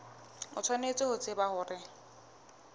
o tshwanetse ho tseba hore